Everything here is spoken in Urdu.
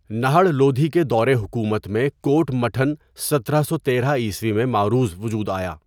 نہڑ لودھی کے دورِحکومت میں کوٹ مٹھن سترہ سو تیرہ ء میں معروض وجود آیا۔